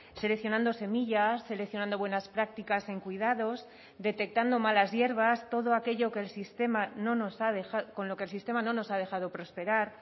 seleccionando semillas seleccionando buenas prácticas en cuidados detectando malas hierbas todo aquello que el sistema no nos ha dejado con lo que el sistema no nos ha dejado prosperar